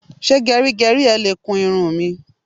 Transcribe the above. Ṣé gẹrígẹrí ẹ le kun irun mi?